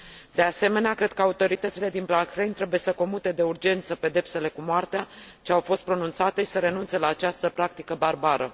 De asemenea, cred că autoritățile din Bahrain trebuie să comute de urgență pedepsele cu moartea ce au fost pronunțate și să renunțe la această practică barbară.